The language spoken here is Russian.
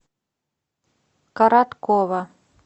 короткова